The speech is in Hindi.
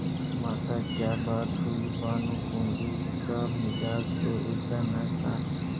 माताक्या बात हुई भानुकुँवरि का मिजाज तो ऐसा न था